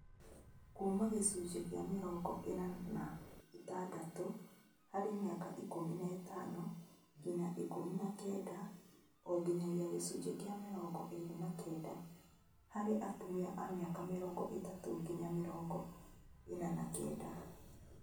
Kuuma gĩcunjĩ kĩa mĩrongo ĩna na ĩtandatũ harĩ mĩaka ikũmi na ĩtano nginya ikũmi na kenda onginyagia gĩcunjĩ kĩa mĩrongo ĩĩrĩ na kenda harĩ atumia a mĩaka mĩrongo ĩtatũ nginya mĩrongo ĩna na kenda